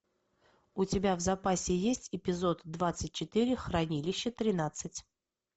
у тебя в запасе есть эпизод двадцать четыре хранилище тринадцать